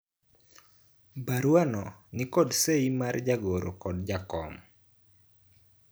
baruano nikod sei mar jagoro kod jakom